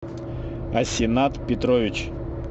асинат петрович